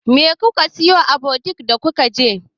Me kuka siyo a butik da kuka je jiya?